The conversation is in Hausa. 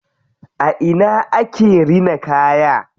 A ina ake rina kaya?